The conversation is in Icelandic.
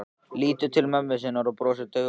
Lítur til mömmu sinnar og brosir daufu brosi.